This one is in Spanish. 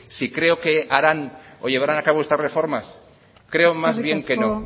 si creo que harán o llevarán a cabo estas reformas creo más bien que no